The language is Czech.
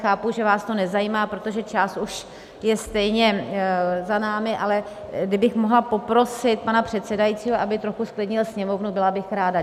Chápu, že vás to nezajímá, protože část už je stejně za námi, ale kdybych mohla poprosit pana předsedajícího, aby trochu zklidnil Sněmovnu, byla bych ráda.